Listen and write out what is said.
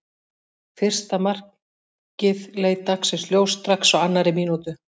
Fyrsta markið leit dagsins ljós strax á annarri mínútu.